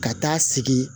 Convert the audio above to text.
Ka taa sigi